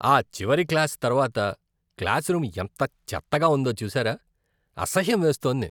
ఆ చివరి క్లాస్ తర్వాత క్లాసురూమ్ ఎంత చెత్తగా ఉందో చూశారా? అసహ్యం వేస్తోంది.